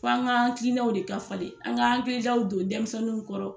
F'an ga an hakilinaw de ka falen an ga hakilijaw don denmisɛnnu kɔrɔ.